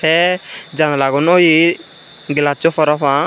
tey janglagun oye glasso parapang.